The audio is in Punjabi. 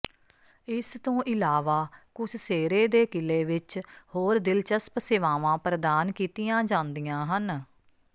ਇਸ ਤੋਂ ਇਲਾਵਾ ਕੁਸਸੇਰੇ ਦੇ ਕਿਲੇ ਵਿਚ ਹੋਰ ਦਿਲਚਸਪ ਸੇਵਾਵਾਂ ਪ੍ਰਦਾਨ ਕੀਤੀਆਂ ਜਾਂਦੀਆਂ ਹਨ